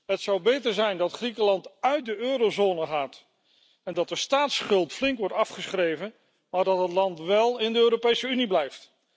Het zou beter zijn dat Griekenland uit de eurozone gaat en dat de staatsschuld flink wordt afgeschreven, maar dat het land wél in de Europese Unie blijft.